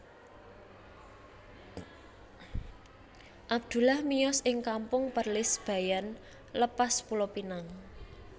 Abdullah miyos ing Kampung Perlis Bayan Lepas Pulo Pinang